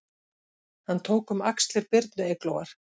Hann tók um axlir Birnu Eyglóar